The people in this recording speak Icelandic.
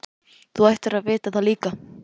Þú ættir að vita það líka.